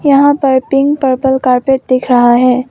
यहां पर pink purple carpet दिख रहा है।